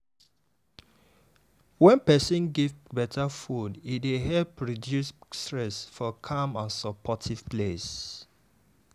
wen person give better food e dey help reduce stress for calm and supportive place.